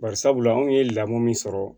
Bari sabula anw ye lamɔ min sɔrɔ